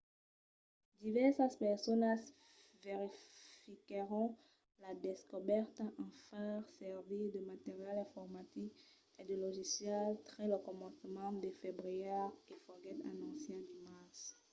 divèrsas personas verifiquèron la descobèrta en far servir de material informatic e de logicials tre lo començament de febrièr e foguèt anonciat dimars